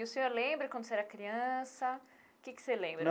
E o senhor lembra, quando você era criança, o que que você lembra?